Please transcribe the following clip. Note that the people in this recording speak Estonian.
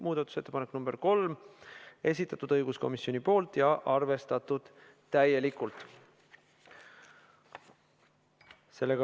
Muudatusettepaneku nr 3 on esitanud õiguskomisjon ja see on täielikult arvestatud.